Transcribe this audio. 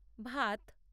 ভাত